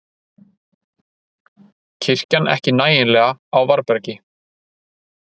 Kirkjan ekki nægjanlega á varðbergi